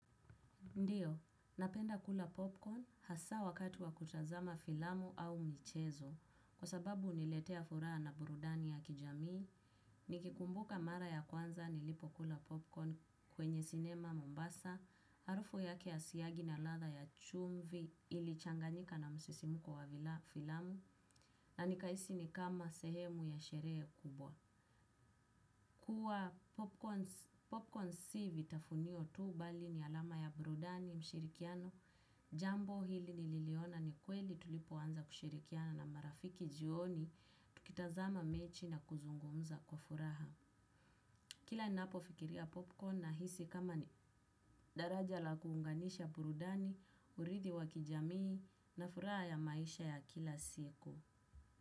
Ndio, napenda kula popcorn hasa wakati wa kutazama filamu au michezo, kwa sababu huniletea furaha na burudani ya kijamii, nikikumbuka mara ya kwanza nilipo kula popcorn kwenye sinema mombasa, harufu yake ya siagi na ladha ya chumvi ilichanganyika na msisimko wa vila filamu, na nikahisi ni kama sehemu ya sherehe kubwa. Kuwa popcorn si vitafunio tu bali ni alama ya burudani mshirikiano, jambo hili nililiona ni kweli tulipo anza kushirikiana na marafiki jioni, tukitazama mechi na kuzungumza kwa furaha. Kila inapo fikiria popcorn na hisi kama ni daraja la kuunganisha burudani, urithi wa kijamii na furaha ya maisha ya kila siku.